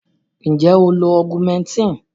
Nje o lo augmentin?